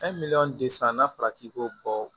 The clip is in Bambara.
An ye miliyɔn de san n'a fɔra k'i k'o bɔ